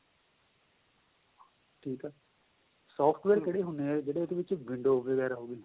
ਠੀਕ ਏ ਉਹਦੇ ਵਿੱਚ software ਕਿਹੜੇ ਹੁੰਦੇ ਏ ਜਿਹੜੇ ਉਹਦੇ ਵਿੱਚ window ਵਗੇਰਾ ਹੋ ਗਏ